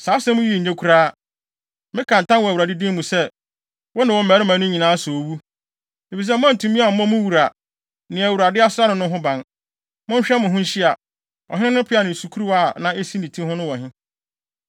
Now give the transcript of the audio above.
Saa asɛm yi nye koraa! Meka ntam wɔ Awurade din mu sɛ, wo ne wo mmarima no nyinaa sɛ owu, efisɛ moantumi ammɔ mo wura, nea Awurade asra no no ho ban. Monhwɛ mo ho nhyia. Ɔhene no peaw ne ne sukuruwa a na esi ne ti ho no wɔ he?”